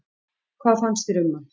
Hvað fannst þér um hann?